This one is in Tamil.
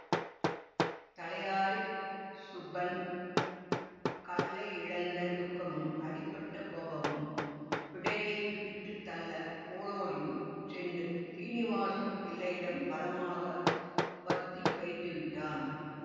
தலையாரி சுப்பன் கள்ளையிழந்த துக்கமும் அடிபட்ட கோபமும் பிடரியைப் பிடித்து தள்ள ஓடோடியும் சென்று சீனிவாசம் பிள்ளையிடம் பலமாக வத்தி வைத்துவிட்டான்